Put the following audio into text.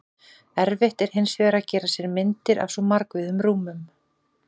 Erfitt er hins vegar að gera sér myndir af svo margvíðum rúmum.